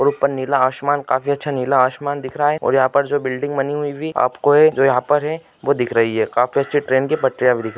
नीला आसमान काफी अच्छा नीला आसमान दिख रहा है और यहां पर जो बिल्डिंग बनी हुई आपको दिख रही है